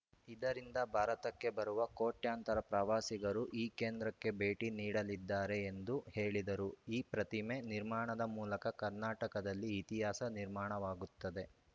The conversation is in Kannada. ಇದರಿಂದ ಭಾರತಕ್ಕೆ ಬರುವ ಕೋಟ್ಯಂತರ ಪ್ರವಾಸಿಗರು ಈ ಕೇಂದ್ರಕ್ಕೆ ಭೇಟಿ ನೀಡಲಿದ್ದಾರೆ ಎಂದು ಹೇಳಿದರು ಈ ಪ್ರತಿಮೆ ನಿರ್ಮಾಣದ ಮೂಲಕ ಕರ್ನಾಟಕದಲ್ಲಿ ಇತಿಹಾಸ ನಿರ್ಮಾಣವಾಗುತ್ತದೆ